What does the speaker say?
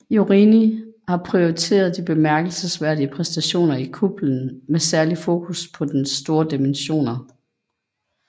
Jorini har pointeret de bemærkelsesværdige præstationer i kuplen med særlig fokus på dens store dimensioner